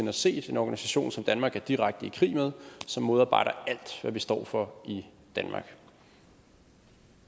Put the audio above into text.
har set en organisation som danmark er i direkte krig med som modarbejder alt hvad vi står for i danmark